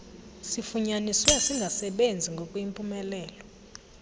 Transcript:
sifunyaniswe singasebenzi ngokuyimpumelelo